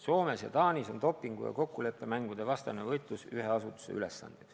Soomes ja Taanis on dopingu- ja kokkuleppemängude vastane võitlus ühe asutuse ülesanne.